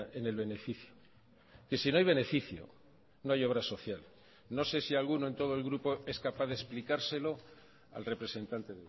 en el beneficio que si no hay beneficio no hay obra social no sé si alguno en todo el grupo es capaz de explicárselo al representante